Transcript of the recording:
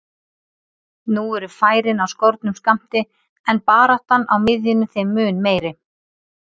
Nú eru færin á skornum skammti en baráttan á miðjunni þeim mun meiri.